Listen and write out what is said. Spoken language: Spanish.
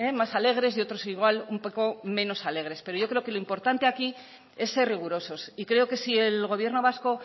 más alegres y otros igual un poco menos alegres pero yo creo que lo importante aquí es ser rigurosos y creo que si el gobierno vasco